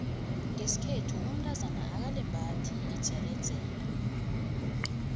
ngeskhethu umtazana akalembathi idzeredzere